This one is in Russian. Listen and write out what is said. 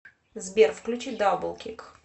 сбер включи даблкик